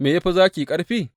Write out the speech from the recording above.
Me ya fi zaki ƙarfi?